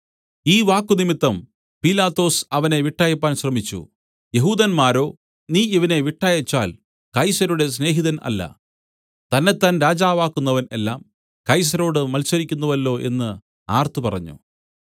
ഈ വാക്കുനിമിത്തം പീലാത്തോസ് അവനെ വിട്ടയപ്പാൻ ശ്രമിച്ചു യെഹൂദന്മാരോ നീ ഇവനെ വിട്ടയച്ചാൽ കൈസരുടെ സ്നേഹിതൻ അല്ല തന്നെത്താൻ രാജാവാക്കുന്നവൻ എല്ലാം കൈസരോട് മത്സരിക്കുന്നുവല്ലോ എന്നു ആർത്തു പറഞ്ഞു